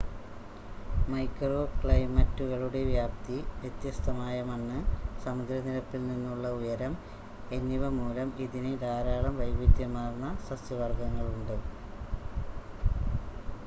micro ക്ലൈമറ്റുകളുടെ വ്യാപ്തി വ്യത്യസ്തമായ മണ്ണ് സമുദ്രനിരപ്പിൽ നിന്നുള്ള ഉയരം എന്നിവ മൂലം ഇതിന് ധാരാളം വൈവിധ്യമാർന്ന സസ്യ വർഗ്ഗങ്ങളുണ്ട്